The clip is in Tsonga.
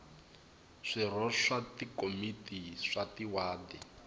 swirho swa tikomiti ta tiwadi